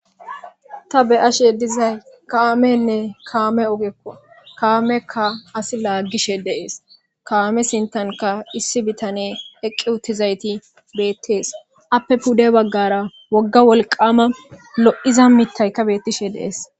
ta beyashe dizay kaamenne kaame ogekko kaamekka asi laaggishe deees kaame sintanka issi bitane eqqi uttizayti beettees appe pudde baggara wogga wolqama lo7iza mittaykka bettishe deees